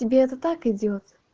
тебе это так идёт